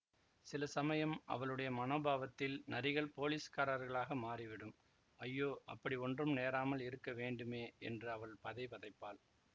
சில சமயம் அவளுடைய மனோபாவத்தில் நரிகள் போலீஸ்காரர்களாக மாறிவிடும் ஐயோ அப்படி ஒன்றும் நேராமல் இருக்க வேண்டுமே என்று அவள் பதை பதைப்பாள்